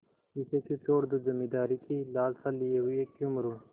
इसे क्यों छोडूँ जमींदारी की लालसा लिये हुए क्यों मरुँ